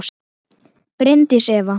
Bryndís Eva.